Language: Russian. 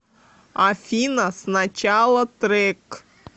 афина сначала трек